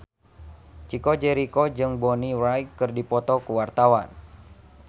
Chico Jericho jeung Bonnie Wright keur dipoto ku wartawan